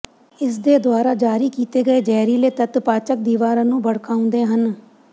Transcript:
ਇਸਦੇ ਦੁਆਰਾ ਜਾਰੀ ਕੀਤੇ ਗਏ ਜ਼ਹਿਰੀਲੇ ਤੱਤ ਪਾਚਕ ਦੀਵਾਰਾਂ ਨੂੰ ਭੜਕਾਉਂਦੇ ਹਨ